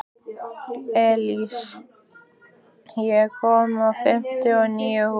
Elsí, ég kom með fimmtíu og níu húfur!